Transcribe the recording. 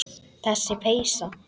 Þessi peysa!